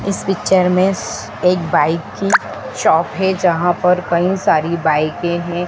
इस पिक्चर में एक बाइक की शॉप है जहां पर कई सारी बाइके हैं।